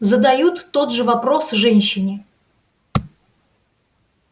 задают тот же вопрос женщине